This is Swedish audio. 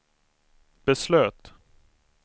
beslöt